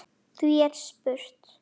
Því er spurt